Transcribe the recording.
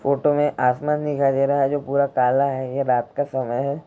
Photo में आसमान दिखाई दे रहा है। जो पूरा काला है ये रात का समय है।